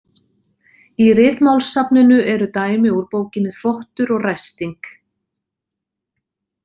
Í Ritmálssafninu er dæmi úr bókinni Þvottur og ræsting.